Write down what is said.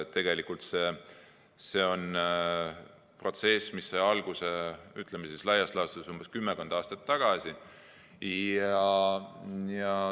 Tegelikult sai see protsess alguse laias laastus kümmekond aastat tagasi.